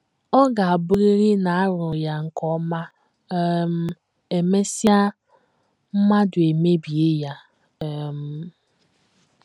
Ọ ga - abụrịrị na a rụrụ ya nke ọma um, e mesịa, mmadụ emebie ya um. ’